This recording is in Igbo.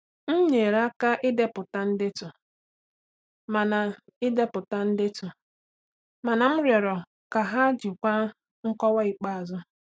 M nyere aka idepụta ndetu, mana idepụta ndetu, mana m rịọrọ ka ha jikwaa nkọwa ikpeazụ.